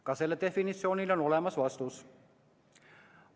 Ka sellele definitsiooniküsimusele on olemas vastus.